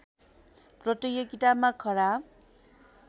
प्रतियोगितामा खराब